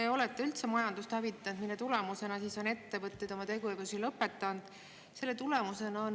Te olete üldse majandust hävitanud, mille tulemusena on ettevõtted oma tegevuse lõpetanud.